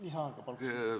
Lisaaega paluks!